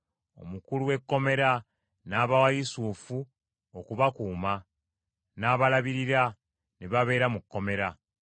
Omukulu w’ekkomera n’abawa Yusufu okubakuuma, n’abalabirira, ne babeera mu kkomera.